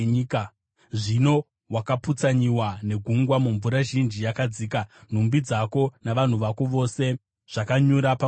Zvino wakaputsanyiwa negungwa mumvura zhinji yakadzika; nhumbi dzako navanhu vako vose zvakanyura pamwe chete newe.